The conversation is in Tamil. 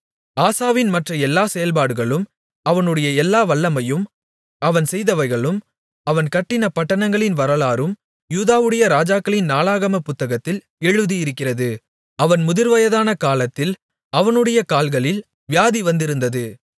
ஆசாவின் மற்ற எல்லா செயல்பாடுகளும் அவனுடைய எல்லா வல்லமையும் அவன் செய்தவைகளும் அவன் கட்டின பட்டணங்களின் வரலாறும் யூதாவுடைய ராஜாக்களின் நாளாகமப் புத்தகத்தில் எழுதியிருக்கிறது அவன் முதிர்வயதான காலத்தில் அவனுடைய கால்களில் வியாதி வந்திருந்தது